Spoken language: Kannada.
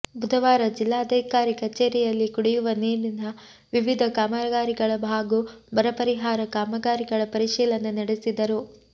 ಬುಧವಾರ ಜಿಲ್ಲಾಧಿಕಾರಿ ಕಚೇರಿಯಲ್ಲಿ ಕುಡಿಯುವ ನೀರಿನ ವಿವಿಧ ಕಾಮಗಾರಿಗಳ ಹಾಗೂ ಬರ ಪರಿಹಾರ ಕಾಮಗಾರಿಗಳ ಪರಿಶೀಲನೆ ನಡೆಸಿದರು